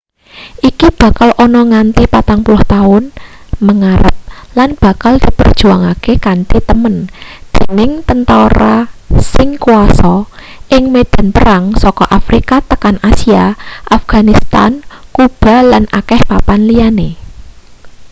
iki bakal ana nganti 40 tahun mengarep lan bakal diperjuangake kanthi temen dening tentara sing kuasa ing medan perang saka afrika tekan asia afganistan kuba lan akeh papan liyane